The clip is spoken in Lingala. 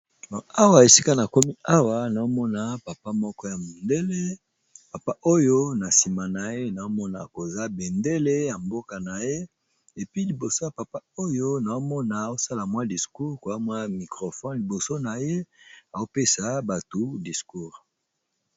Awa esika na komi awa naomona papa moko ya mondele papa oyo na nsima na ye naomona koza bendele ya mboka na ye epi liboso ya papa oyo naomona osala mwa discours koamwa microfone liboso na ye aopesa bato discour.